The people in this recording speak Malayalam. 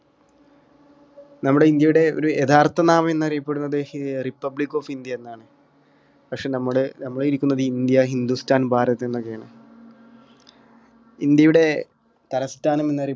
നമ്മുടെ ഇന്ത്യയുടെ ഒരു യഥാർത്ഥ നാമം എന്നറിയപ്പെടുന്നത് ഏർ republic of india എന്നാണ് പക്ഷെ നമ്മള് നമ്മള് ഇരിക്കുന്നത് ഇന്ത്യ ഹിന്ദുസ്ഥാൻ ഭാരത് എന്നൊക്കെ ആണ് ഇന്ത്യയുടെ തലസ്ഥാനം എന്നറി